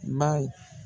Ba